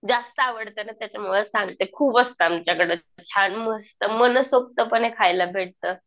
जास्त आवडतं ना त्याच्यामुळं सांगते. खूप असतं आमच्याकडं छान मस्त मनसोक्तपणे खायला भेटतं.